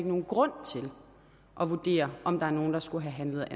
nogen grund til at vurdere om der er nogen der skulle have handlet